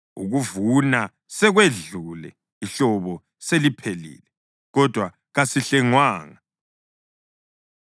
“Ukuvuna sekwedlule, ihlobo seliphelile, kodwa kasihlengwanga.”